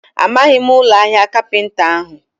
Amaghị m ụlọ ahịa kapinta ahụ.